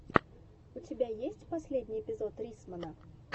у тебя есть последний эпизод риссмана